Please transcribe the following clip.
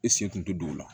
E sen tun tɛ don o la